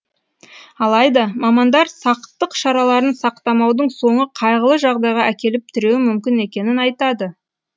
алайда мамандар сақтық шараларын сақтамаудың соңы қайғылы жағдайға әкеліп тіреуі мүмкін екенін айтады